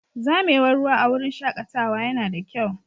Zamewar ruwa a wurin shakatawa yana da kyau.